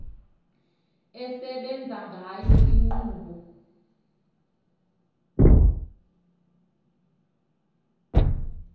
esebenza ngayo inkqubo